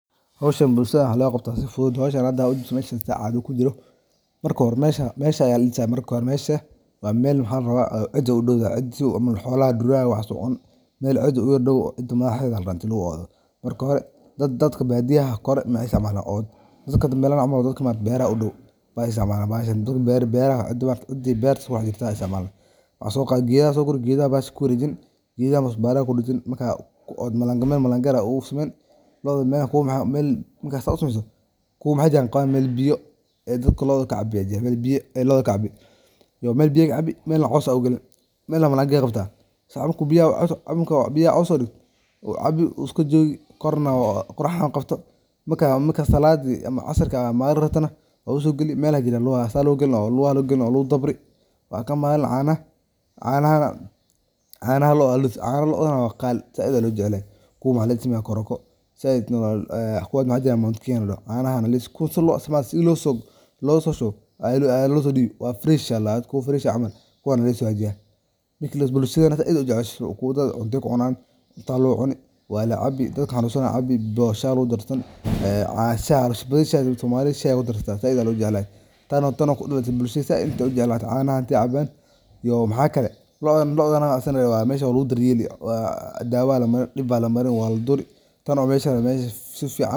Si loo dhaqo loda si habboon, marka hore waa in la kala saaraa dharka midabka leh iyo kuwa cad si aysan midabadu isugu darsamin. Kadibna, dharka waa in la hubiyaa jeebabkooda, lagana saaraa wax kasta oo ku jira. Marka la diyaariyo, dharka waxaa lagu ridaa mishiinka dharka lagu dhaqo ama lagu dhaqo gacanta iyadoo la adeegsanayo biyo nadiif ah iyo saabuun ku habboon. Haddii la adeegsanayo mishiinka, waxaa muhiim ah in la doorto barnaamijka ku habboon nooca dharka. Marka dhaqistu dhammaato, dharka waa in la miiraa ama la qalajiyaa kadibna si hagaagsan loo qalajiyo ama loo rido qalajiyaha. Ugu dambeyntii, dharka waa in la feereeyo ama la hagaajiyaa si loogu diyaariyo isticmaalka.